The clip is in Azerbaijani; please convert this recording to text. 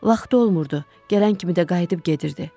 Vaxtı olmurdu, gələn kimi də qayıdıb gedirdi.